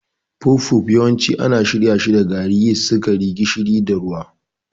Puff-puff yawanci ana shirya shi da gari, yist, sukari, gishiri, da ruwa.